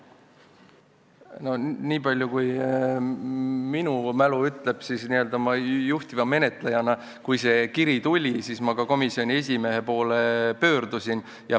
No nii palju kui minu mälu ütleb, siis ma juhtiva menetlejana, kui see kiri tuli, pöördusin komisjoni esimehe poole.